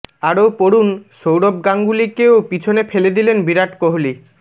আরও পড়ুন সৌরভ গাঙ্গুলিকেও পিছনে ফেলে দিলেন বিরাট কোহলি